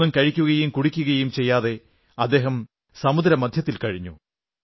ഒന്നും കഴിക്കുകയും കുടിക്കുകയും ചെയ്യാതെ അദ്ദേഹം സമുദ്രമധ്യത്തിൽ കഴിഞ്ഞു